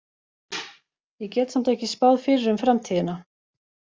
Ég get samt ekki spáð fyrir um framtíðina.